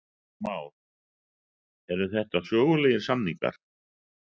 Heimir Már: Eru þetta sögulegir samningar?